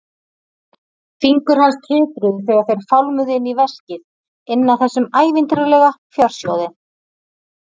Fingur hans titruðu þegar þeir fálmuðu inn í veskið, inn að þessum ævintýralega fjársjóði.